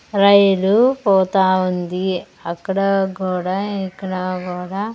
రైలు పోతా ఉంది అక్కడ కూడా ఇక్కడ కూడా.